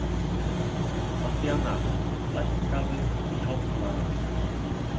Mattíana, lækkaðu í hátalaranum.